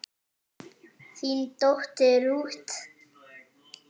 þín dóttir Ruth.